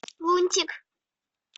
лунтик